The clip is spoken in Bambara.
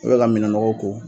I bɛ ka minɛn nɔgɔw ko.